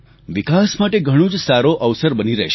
વિકાસ માટે ઘણો જ સારો અવસર બની રહેશે